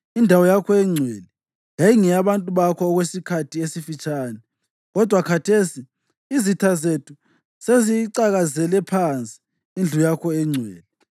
Indawo yakho engcwele yayingeyabantu bakho okwesikhathi esifitshane, kodwa khathesi izitha zethu seziyicakazele phansi indlu yakho engcwele.